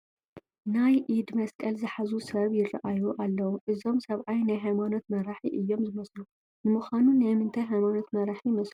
ናይ ኢድ መስቀል ዝሓዙ ሰብ ይርአዩ ኣለዉ፡፡ እዞም ሰብኣይ ናይ ሃይማኖት መራሒ እዮም ዝመስሉ፡፡ ንምዃኑ ናይ ምንታይ ሃይማኖት መራሒ ይመስሉ?